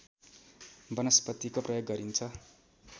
वनस्पतिको प्रयोग गरिन्छ